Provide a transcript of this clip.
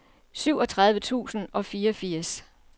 syvogtredive tusind og fireogfirs